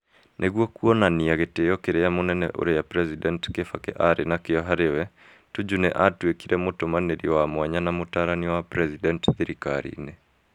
Nĩguo kuonania gĩtĩo kĩrĩa mũnene ũrĩa President Kibaki aarĩ nakĩo harĩ we, Tuju nĩ aatuĩkire Mũtũmanĩri wa mwanya na mũtaarani wa President thirikari-inĩ.